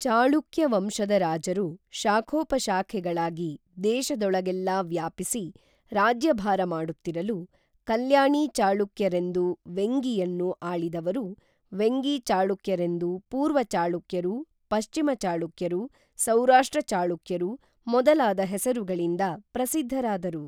ಚಾಳುಕ್ಯ ವಂಶದ ರಾಜರು ಶಾಖೋಪಶಾಖೆಗ ಳಾಗಿ ದೇಶದೊಳಗೇಲ್ಲಾ ವ್ಯಾಪಿಸಿ ರಾಜ್ಯಭಾರ ಮಾಡುತ್ತಿರಲು ಕಲ್ಯಾಣೀ ಚಾಳುಕ್ಯರೆಂದು ವೆಂಗಿಯನ್ನು ಆಳಿದವರು ವೆಂಗಿ ಚಾಳುಕ್ಯರೆಂದು ಪೂರ್ವ ಚಾಳುಕ್ಯರು ಪಶ್ಚಿಮ ಚಾಳುಕ್ಯರು ಸೌರಾಷ್ಟ್ರ ಚಾಳುಕ್ಯರು ಮೊದಲಾದ ಹೆಸರುಗಳಿಂದ ಪ್ರಸಿದ್ಧರಾದರು